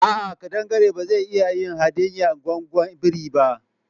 A'a, kadangare ba zai iya ya hadiye gwaggon biri ba.